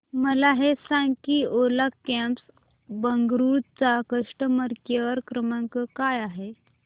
मला हे सांग की ओला कॅब्स बंगळुरू चा कस्टमर केअर क्रमांक काय आहे